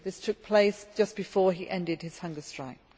this took place just before he ended his hunger strike.